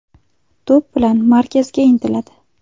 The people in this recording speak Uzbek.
To‘p bilan markazga intiladi.